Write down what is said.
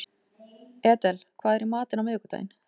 Edel, hvað er í matinn á miðvikudaginn?